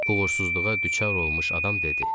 Uğursuzluğa düçar olmuş adam dedi.